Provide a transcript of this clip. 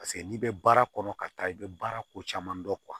Paseke n'i bɛ baara kɔnɔ ka taa i bɛ baara ko caman dɔn